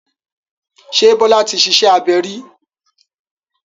Ṣé Bọ́lá ti ṣiṣẹ́ abẹ rí?